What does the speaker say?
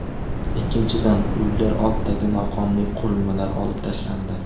Ikkinchidan, uylar oldidagi noqonuniy qurilmalar olib tashlandi.